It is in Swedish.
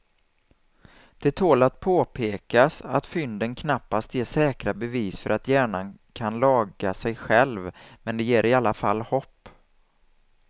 Det tål att påpekas att fynden knappast ger säkra bevis för att hjärnan kan laga sig själv men de ger i alla fall hopp.